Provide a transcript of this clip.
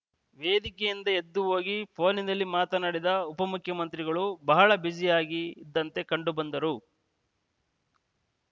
ವೇದಿಕೆಯಿಂದ ಎದ್ದು ಹೋಗಿ ಪೋನಿನಲ್ಲಿ ಮಾತಾಡಿದ ಉಪಮುಖ್ಯಮಂತ್ರಿಗಳು ಬಹಳ ಬ್ಯುಸಿಯಾಗಿ ಇದ್ದಂತೆ ಕಂಡುಬಂದರು